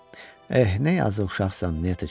Eh, nə yazıq uşaqsan, Nyetochka!